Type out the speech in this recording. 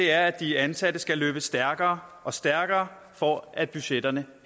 er at de ansatte skal løbe stærkere og stærkere for at budgetterne